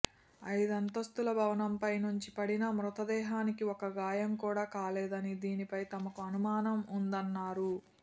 ఐదంతస్తుల భవనంపై నుంచి పడినా మృతదేహానికి ఒక గాయం కూడా కాలేదని దీనిపై తమకు అనుమానం ఉందన్నారు